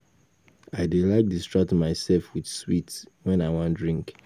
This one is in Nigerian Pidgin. I dey like distract myself with sweet wen I wan drink